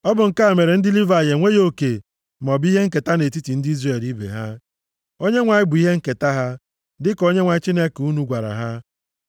Ọ bụ nke a mere ndị Livayị enweghị oke maọbụ ihe nketa nʼetiti ndị Izrel ibe ha; Onyenwe anyị bụ ihe nketa ha, dịka Onyenwe anyị Chineke unu gwara ha.)